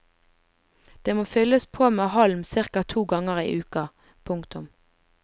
Det må fylles på med halm cirka to ganger i uka. punktum